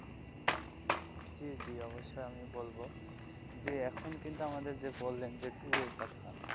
জী জী অবশ্যই আমি বলবো যে এখন কিন্তু আমাদের যে বললেন যে tour এর কথা.